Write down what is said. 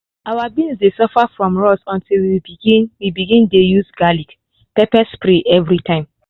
our beans dey suffer from rust until we begin we begin dey use garlic-pepper spray everytime.